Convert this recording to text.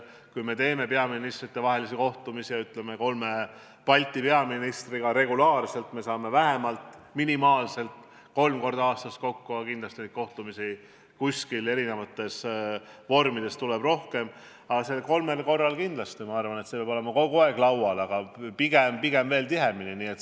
Kui korraldame peaministrite kohtumisi – Baltikumi peaministritega saame regulaarselt kokku vähemalt kolm korda aastas, aga kindlasti on neid kohtumisi erisugustes vormides rohkem –, siis vähemalt neil kolmel korral peab see teema olema kogu aeg laual, aga pigem veel tihemini.